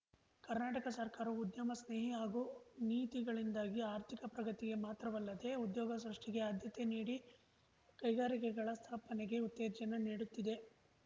ಕರ್ನಾಟಕ ಸರ್ಕಾರ ಉದ್ಯಮ ಸ್ನೇಹಿ ಹಾಗೂ ನೀತಿಗಳಿಂದಾಗಿ ಆರ್ಥಿಕ ಪ್ರಗತಿಗೆ ಮಾತ್ರವಲ್ಲದೆ ಉದ್ಯೋಗ ಸೃಷ್ಟಿಗೆ ಆದ್ಯತೆ ನೀಡಿ ಕೈಗಾರಿಕೆಗಳ ಸ್ಥಾಪನೆಗೆ ಉತ್ತೇಜನ ನೀಡುತ್ತಿದೆ